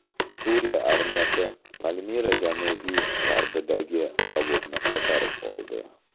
Suriya armiyasi Palmira janubi-g‘arbidagi zavodni qaytarib oldi.